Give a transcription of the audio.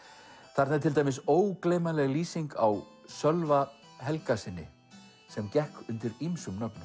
þar er til dæmis ógleymanleg lýsing á Sölva Helgasyni sem gekk undir ýmsum nöfnum